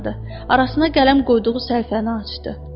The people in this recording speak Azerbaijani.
Arasına qələm qoyduğu səhifəni açdı.